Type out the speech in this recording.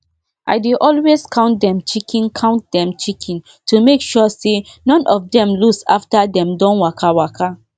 i dey always count dem chicken count dem chicken to make sure say none of them lose after dem don waka waka